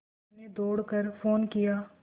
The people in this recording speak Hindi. मैंने दौड़ कर फ़ोन किया